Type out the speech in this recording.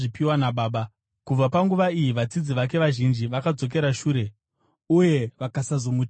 Kubva panguva iyi vadzidzi vake vazhinji vakadzokera shure uye vakasazomutevera.